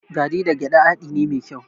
Garri da gyaɗa haɗi ne mai kyau.